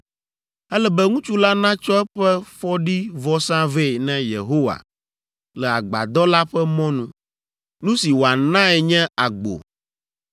Ele be ŋutsu la natsɔ eƒe fɔɖivɔsa vɛ na Yehowa le Agbadɔ la ƒe mɔnu. Nu si wòanae nye agbo.